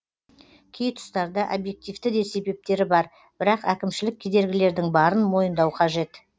кей тұстарда объективті де себептері бар бірақ әкімшілік кедергілердің барын мойындау қажет